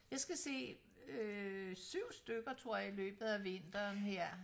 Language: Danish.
Jeg skal se øh 7 stykker tror jeg i løbet af vinteren her